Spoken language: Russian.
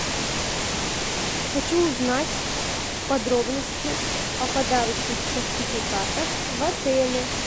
хочу узнать подробности о подарочных сертификатах в отеле